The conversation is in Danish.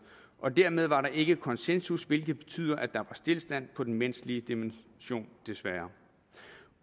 dermed var der ikke konsensus hvilket betyder at der stilstand på den menneskelige dimension desværre